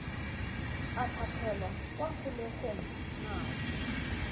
a tlhatlhelwa kwa kgolegelong nako